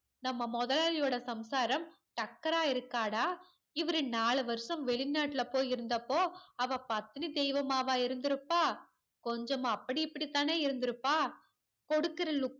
நம்ம முதலாளியோட சம்சாரம் டக்கரா இருக்காட இவரு நாலு வருஷம் வெளிநாட்டுல போய் இருந்தப்போ அவ பத்தினி தெய்வமாவா இருந்துருப்பா கொஞ்சம் அப்டி இப்படினுதான இருந்துருப்பா கொடுக்கற look